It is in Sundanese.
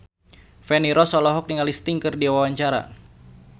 Feni Rose olohok ningali Sting keur diwawancara